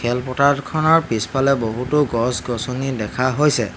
খেল পথাৰখনৰ পিছফালে বহুতো গছ-গছনি দেখা হৈছে।